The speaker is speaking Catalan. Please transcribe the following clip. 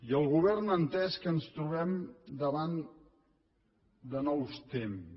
i el govern ha entès que ens trobem davant de nous temps